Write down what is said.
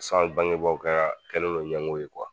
san bangebaaw ka kɛlen no ɲɛngo ye